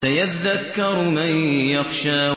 سَيَذَّكَّرُ مَن يَخْشَىٰ